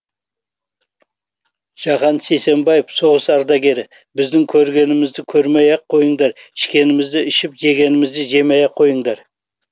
жахан сейсенбаев соғыс ардагері біздің көргенімізді көрмей ақ қойыңдар ішкенімізді ішіп жегенімізді жемей ақ қойыңдар